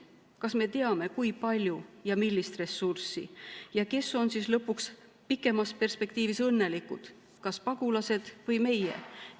Kas me teame, kui palju ja millist ressurssi ja kes on lõpuks pikemas perspektiivis õnnelikud, kas pagulased või meie?